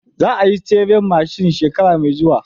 Za ayi tseren mashin shekara me zuwa